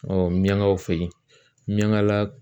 ɲangaw fɛ yen ɲɛn ka la